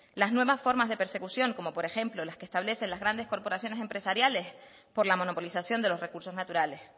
las nuevas forma de persecución como por ejemplo las que establecen las grandes corporaciones empresariales por la monopolización de los recursos naturales